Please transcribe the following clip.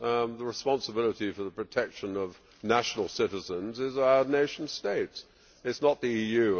The responsibility for the protection of national citizens lies with our nation states, not with the EU.